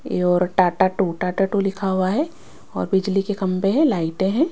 ये और Tata two Tata two लिखा हुआ है और बिजली के खंबे है लाइटे है।